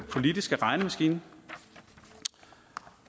politiske regnemaskine